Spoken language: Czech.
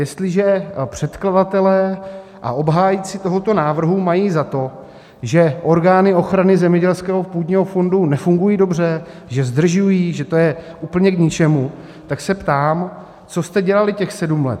Jestliže předkladatelé a obhájci tohoto návrhu mají za to, že orgány ochrany zemědělského půdního fondu nefungují dobře, že zdržují, že to je úplně k ničemu, tak se ptám: co jste dělali těch sedm let?